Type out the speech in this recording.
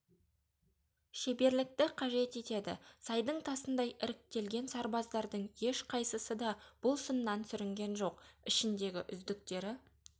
шеберлікті қажет етеді сайдың тасындай іріктелген сарбаздардың ешқайсысы да бұл сыннан сүрінген жоқ ішіндегі үздіктері